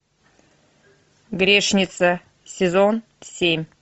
грешница сезон семь